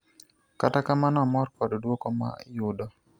kata kamano amor kod duoko ma yudo